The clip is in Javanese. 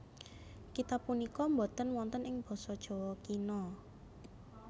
Kitab punika boten wonten ing basa Jawa Kina